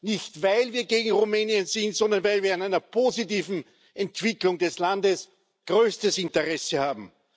Nicht weil wir gegen Rumänien sind, sondern weil wir an einer positiven Entwicklung des Landes größtes Interesse haben.